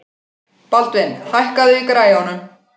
Baldvin, hækkaðu í græjunum.